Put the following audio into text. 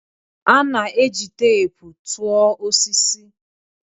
A na-eji teepu tụọ osisi.